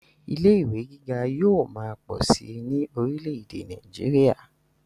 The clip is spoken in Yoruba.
ilé ìwé gíga yóò máa pọ̀ síi ní orílẹ̀-ẹ̀dẹ̀ nàìjíría